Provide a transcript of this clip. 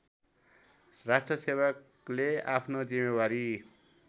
राष्ट्रसेवकले आफ्नो जिम्मेवारी